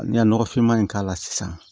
Ne ye nɔgɔfinma in k'a la sisan